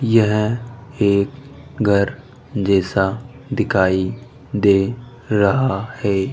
यह एक घर जैसा दिखाई दे रहा है।